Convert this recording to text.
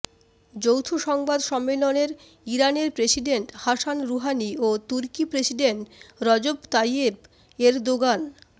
যৌথ সংবাদ সম্মেলনের ইরানের প্রেসিডেন্ট হাসান রুহানি ও তুর্কি প্রেসিডেন্ট রজব তাইয়্যেব এরদোগান